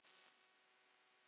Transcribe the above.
Þá hefði